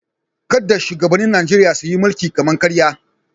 Kada shugabannin Najeriya su yi mulkin kama-karya.